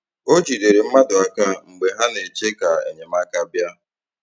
O jidere mmadụ aka mgbe ha na-eche ka enyemaka bịa